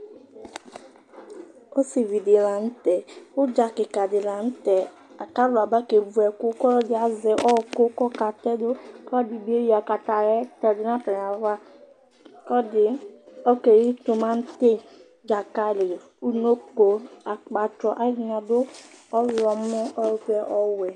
Ɔsivi ɖi la ŋtɛ Udza kika ɖi la ŋtɛ Alu aba kevʋ ɛku Ɔluɛɖi azɛ ɔku kʋ ɔka tɛdʋ Ɔluɛɖi keɣi timati, dzakali, uŋɔko, akpatsɔ Ɔlʋɛɖìní aɖu ɔvɛ, ɔwɛ